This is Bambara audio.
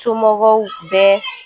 Somɔgɔw bɛ